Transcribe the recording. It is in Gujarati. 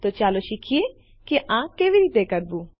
તો ચાલો શીખીએ આ કેવી રીતે કરવું